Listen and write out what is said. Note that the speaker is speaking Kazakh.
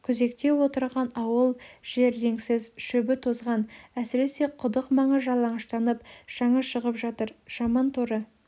күзекте отырған ауыл жер реңсіз шөбі тозған әсіресе құдық маңы жалаңаштанып шаңы шығып жатыр жаман торы